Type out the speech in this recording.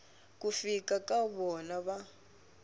ku fika ka vona va